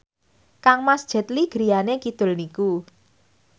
kangmas Jet Li griyane kidul niku